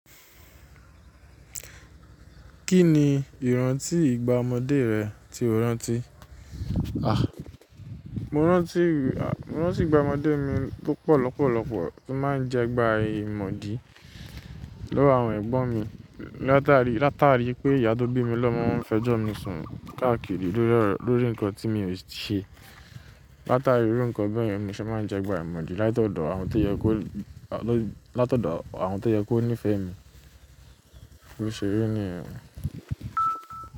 Kí ni ìrántí ìgbà ọmọdé rẹ tí o rántí? A! Mo rántí, mo rántí ìgbà ọmọdé mi tó pọ̀ lọ́pọ̀lọ́pọ̀ tó máa ń jẹ́ gbà aimọ̀dí lówo àwọn ẹ̀gbọ́n mi. Látàrí, látàrí pé ìyá tó bí mi lọ́mọ ń fẹjọ́ mi sùn káàkiri lórí, lórí nǹkan tí mi ò ṣe. Látàrí iru nkan bẹ́ẹ̀ yen, ni mo ṣe máa ń jẹ́ gbà áimọ̀dí látọ̀dọ̀ àwọn tó yẹ kó, látọ̀dọ̀ àwọn tó yẹ kó nífẹ̀ẹ́ mi. Bo ṣe ri niyen ó.